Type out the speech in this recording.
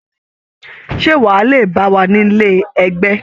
Ṣé wọ́n á lè bá wa nílé ẹgbẹ́?